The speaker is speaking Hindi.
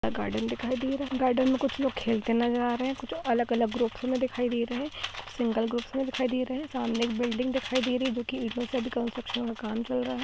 गार्डन दिखाई दे रहा है गार्डन में कुछ लोग खेलते ना जा रहे हैं कुछ अलग-अलग ग्रुप में दिखाई दे रहे हैं सिंगल ग्रुप में दिखाई दे रहे हैं सामने एक बिल्डिंग दिखाई दे रही जो कि इधर से भी कंस्ट्रक्शन का कर--